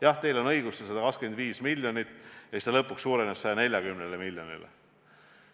Jah, teil on õigus, see oli 125 miljonit ja lõpuks suurenes see 140 miljonini.